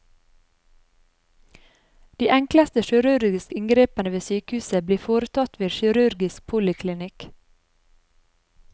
De enkleste kirurgiske inngrepene ved sykehuset blir foretatt ved kirurgisk poliklinikk.